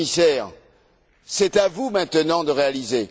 le commissaire C'est à vous maintenant de réaliser.